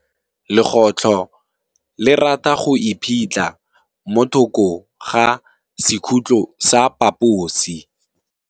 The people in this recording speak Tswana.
Legôtlô le rata go iphitlha mo thokô ga sekhutlo sa phaposi.